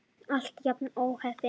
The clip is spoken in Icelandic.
Alltaf jafn óheppin!